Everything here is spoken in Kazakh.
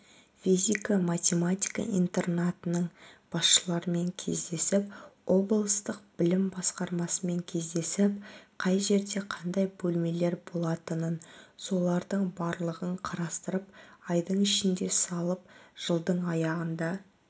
физика-математика интернатының басшыларымен кездесіп облыстық білім басқармасымен кездесіп қай жерде қандай бөлмелер болатынын солардың барлығын қарастырып айдың ішінде салып жылдың аяғында